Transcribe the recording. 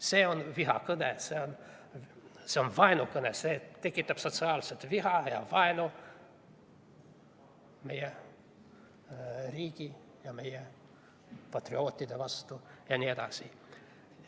See on vihakõne, see on vaenukõne, see tekitab sotsiaalset viha ja vaenu meie riigi ja meie patriootide vastu jne.